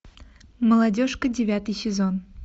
молодежка девятый сезон